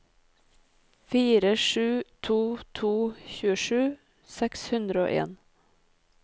fire sju to to tjuesju seks hundre og en